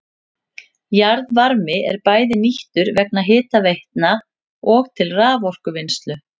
Jarðvarmi er bæði nýttur vegna hitaveitna og til raforkuvinnslu.